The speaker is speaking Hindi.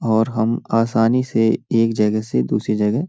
और हम आसानी से एक जगह से दूसरी जगह --